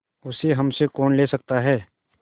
उसे हमसे कौन ले सकता है